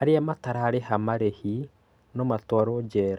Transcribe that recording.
arĩa matarĩha marihi no matuarwo njera.